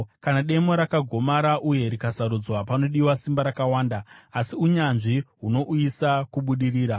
Kana demo rakagomara uye rikasarodzwa, panodiwa simba rakawanda, asi unyanzvi hunouyisa kubudirira.